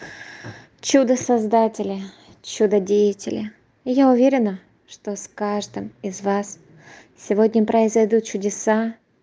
чудо создатели чудо деятели я уверена что с каждым из вас сегодня произойдут чудеса